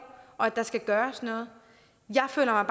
og at der skal gøres noget jeg føler